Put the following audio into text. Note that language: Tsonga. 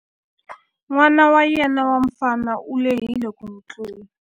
N'wana wa yena wa mufana u lehile ku n'wi tlula.